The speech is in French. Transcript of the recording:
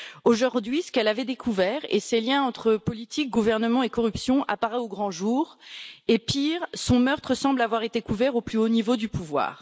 Aujourd'hui, ce qu'elle avait découvert et ces liens entre politique, gouvernement et corruption apparaissent au grand jour et, pire, son meurtre semble avoir été couvert au plus haut niveau du pouvoir.